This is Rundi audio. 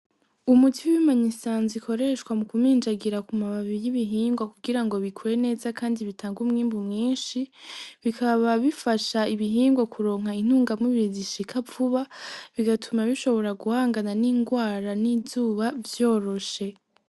Umuti w'ima usanzwe ukoreshwa mu kumijagira ku mababi y'ibihingwa kugira ngo bikure neza kandi bitanga umwimbu mwinshi, bikaba bifasha ibihingwa kuronka intunga mubiri zishika vuba , bigatuma bishobora guhangana n'ingwara n'izuba vyoroshe.